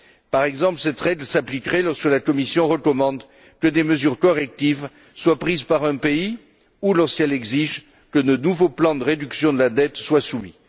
Par exemple, cette règle s'appliquerait lorsque la Commission recommande que des mesures correctives soient prises par un pays ou lorsqu'elle exige que de nouveaux plans de réduction de la dette soient soumis.